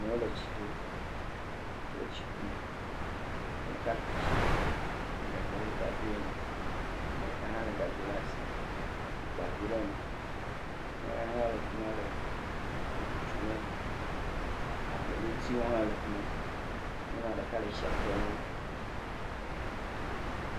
Amewo le tsi to. Wole tsi kum. Ame ɖeka ku tsi lé gagbɛ ɖe ta dzo yina. Ame ɖeka hã le gago le asi wokpa vi ɖe me. Ame aɖe hã le afi ma le foto tsom wo. Abladzotiwo hã le fi ma. Nyɔnua ɖeka le tsia tem nawo.